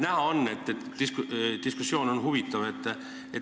Näha on, et diskussioon on huvitav.